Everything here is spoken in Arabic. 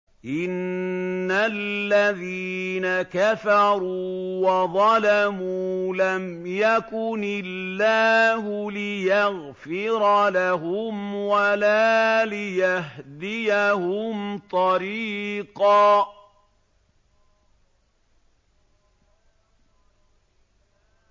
إِنَّ الَّذِينَ كَفَرُوا وَظَلَمُوا لَمْ يَكُنِ اللَّهُ لِيَغْفِرَ لَهُمْ وَلَا لِيَهْدِيَهُمْ طَرِيقًا